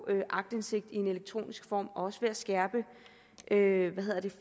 aktindsigt i elektronisk form og også ved at skærpe skærpe